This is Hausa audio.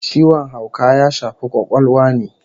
Ciwon hauka ya shafi kwakwalwa ne